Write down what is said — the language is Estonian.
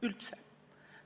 Üldse!